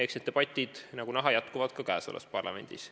Ja need debatid, nagu näha, jätkuvad ka praeguses parlamendis.